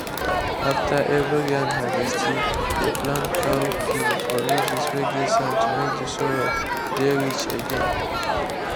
after every yan harvesti dey plant cowpea for ridges whey get sand to make the soil dey rich again.